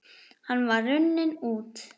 Hann var runninn út